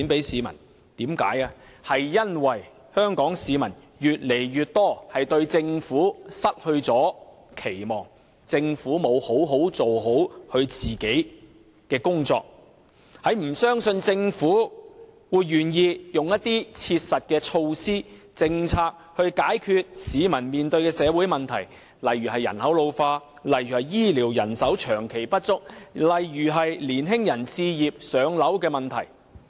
因為政府沒有做好自己的工作，令越來越多香港市民對它失去期望，不相信它願意推行一些切實的措施和政策，以解決市民面對的社會問題，例如人口老化、醫療人手長期不足、青年人置業等問題。